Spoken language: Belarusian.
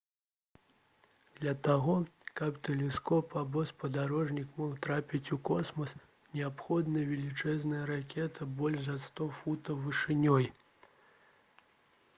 для таго каб тэлескоп або спадарожнік мог трапіць у космас неабходна велічэзная ракета больш за 100 футаў вышынёй